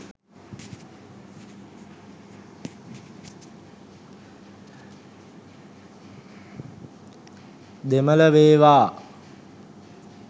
දෙමල වේවා